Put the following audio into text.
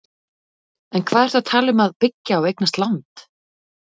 En hvað ertu að tala um að byggja og eignast land?